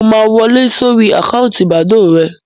Mo máa wọ lé sórí àkáǹtì bàdóò rẹ